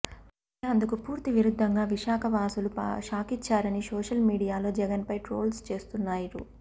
కానీ అందుకు పూర్తి విరుద్ధంగా విశాఖ వాసులు షాకిచ్చారని సోషల్ మీడియాలో జగన్ పై ట్రోల్స్ చేస్తున్నారు